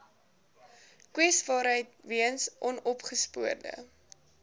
kwesbaarheid weens onopgespoorde